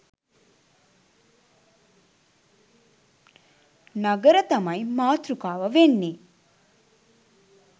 නගර තමයි මාතෘකාව වෙන්නේ.